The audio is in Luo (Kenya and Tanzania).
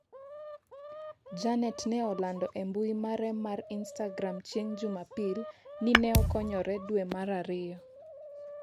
Janet ne olando e mbui mare mar istagram chieng' jumapil ni ne okonyore dwe mar ariyo